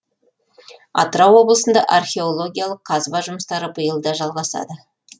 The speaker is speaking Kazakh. атырау облысында археологиялық қазба жұмыстары биыл да жалғасады